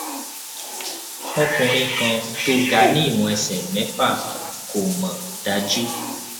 ọkùnrin kan tó ga ni iwon ẹsẹ mẹfà kò mọ daju